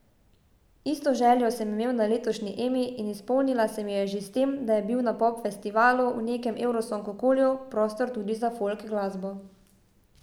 Isto željo sem imel na letošnji Emi in izpolnila se mi je že s tem, da je bil na pop festivalu, v nekem evrosong okolju, prostor tudi za folk glasbo.